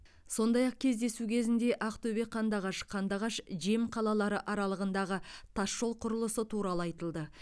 сондай ақ кездесу кезінде ақтөбе қандыағаш қандыағаш жем қалалары аралығындағы тасжол құрылысы туралы айтылды